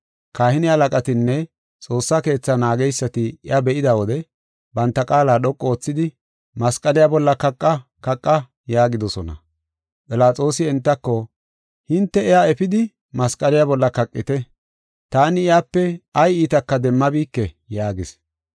Kahine halaqatinne Xoossa Keetha naageysati iya be7ida wode, banta qaala dhoqu oothidi, “Masqaliya bolla kaqa! Kaqa!” yaagidosona. Philaxoosi entako, “Hinte iya efidi, masqaliya bolla kaqite. Taani iyape ay iitaka demmabike” yaagis.